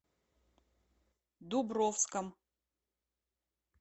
дубровском